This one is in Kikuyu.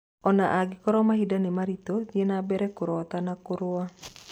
Ona ngĩkorwo mahinda nĩ maritũ, thiĩ nambere kũrota na kũrũa.